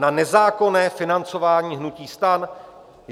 Na nezákonné financování hnutí STAN?